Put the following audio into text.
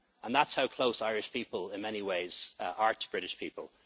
our flag'. That's how close Irish people in many ways are to British